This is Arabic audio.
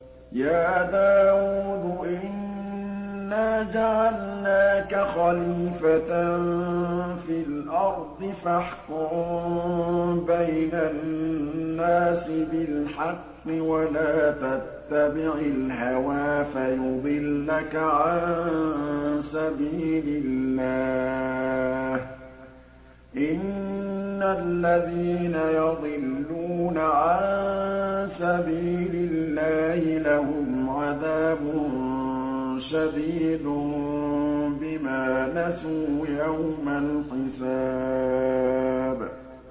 يَا دَاوُودُ إِنَّا جَعَلْنَاكَ خَلِيفَةً فِي الْأَرْضِ فَاحْكُم بَيْنَ النَّاسِ بِالْحَقِّ وَلَا تَتَّبِعِ الْهَوَىٰ فَيُضِلَّكَ عَن سَبِيلِ اللَّهِ ۚ إِنَّ الَّذِينَ يَضِلُّونَ عَن سَبِيلِ اللَّهِ لَهُمْ عَذَابٌ شَدِيدٌ بِمَا نَسُوا يَوْمَ الْحِسَابِ